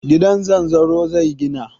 Gida zanzaro zai gina.